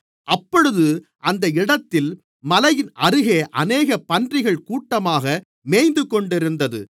அப்பொழுது அந்த இடத்தில் மலையின் அருகில் அநேக பன்றிகள் கூட்டமாக மேய்ந்துகொண்டிருந்தது